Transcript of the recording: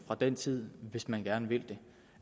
fra den tid hvis man gerne vil det